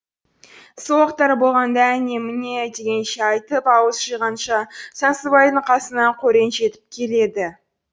сол уақыттар болғанда әне міне дегенше айтып ауыз жиғанша сансызбайдың қасына қорен жетіп келеді